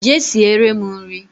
Jee siere m nri